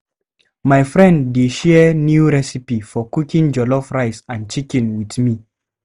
My friend dey share new recipe for cooking jollof rice and chicken with me.